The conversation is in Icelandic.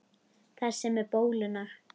Þessi með bóluna?